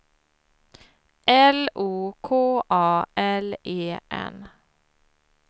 L O K A L E N